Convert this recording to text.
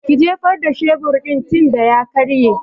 Ki jefar da shebur din tinda ya karye!